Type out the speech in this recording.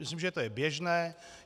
Myslím, že to je běžné.